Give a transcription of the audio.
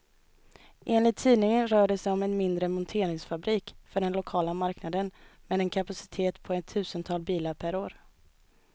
Enligt tidningen rör det sig om en mindre monteringsfabrik för den lokala marknaden, med en kapacitet på ett tusental bilar per år.